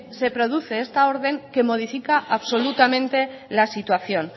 se produce esta orden que modifica absolutamente la situación